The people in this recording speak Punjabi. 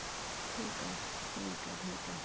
ਠੀਕ ਆ ਠੀਕ ਏ ਠੀਕ ਏ